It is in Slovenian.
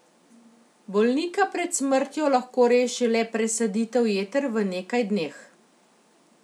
Bolnika pred smrtjo lahko reši le presaditev jeter v nekaj dneh.